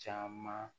Caman